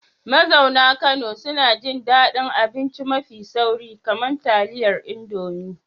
Mazauna Kano suna jin daɗin abinci mafi sauri, kamar taliyar indomie